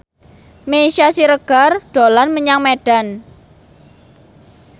Meisya Siregar dolan menyang Medan